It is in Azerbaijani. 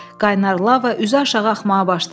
Qaynar lava üzü aşağı axmağa başladı.